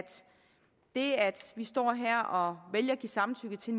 det at vi står her og vælger at give samtykke til